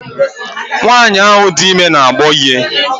Nwaanyi ahụ dị ime n'agbọ ihe.